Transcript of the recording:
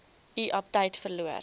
u aptyt verloor